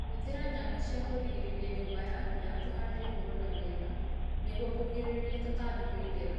Hũthĩra nyamũ cia kũrigĩrĩria nyũmba yaku ya kũhanda igũrũ na miena nĩguo kũgirĩrĩria tũtambi kũingĩra